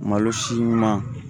Malo si ɲuman